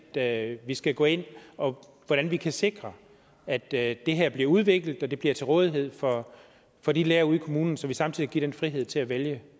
at vi skal gå ind og hvordan vi kan sikre at det her bliver udviklet og at det bliver til rådighed for for de lærere ude i kommunen så vi samtidig giver den frihed til at vælge